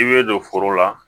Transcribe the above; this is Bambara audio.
I bɛ don foro la